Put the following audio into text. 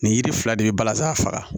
Nin yiri fila de bɛ balazan faga